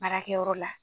Baarakɛyɔrɔ la